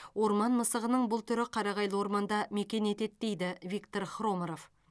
орман мысығының бұл түрі қарағайлы орманда мекен етеді дейді виктор хроморов